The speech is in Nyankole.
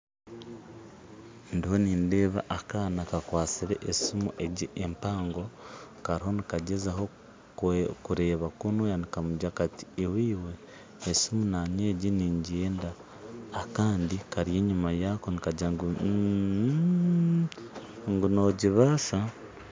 Ndiho nindeeba akaana kakwatsire esiimu egi empango kariyo nigagyezaho kureeba kunuya nikamugira kati iwe esiimu nanye egi nigyenda kandi kari enyuma yaako nikagira ngu uhuum ngu nogibaasa